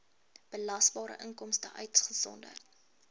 belasbare inkomste uitgesonderd